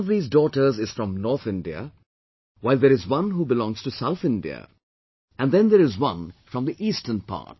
One of these daughters is from North India while there is one who belongs to South India and then there is one from the Eastern part